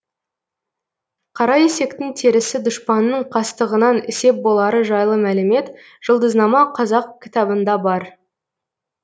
қара есектің терісі дұшпанның қастығынан сеп болары жайлы мәлімет жұлдызнама қазақ кітабында бар